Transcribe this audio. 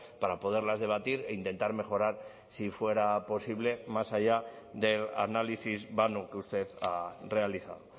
para poderlas debatir e intentar mejorar si fuera posible más allá de análisis vano que usted ha realizado